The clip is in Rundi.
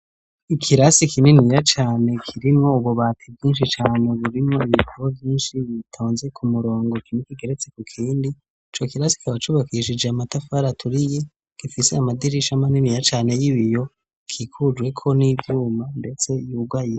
Ikirasi kininiya cane kirimwo ububati bwinshi cane burimwo ibitabo vyinshi bitonze ku murongo kimwe kigeretse ku kindi ico kirasi kikaba cubakishije matafar' aturiye gifise amadirisha maniniya cane y'ibiyo, kikujweko n'ivyuma ndetse yugaye.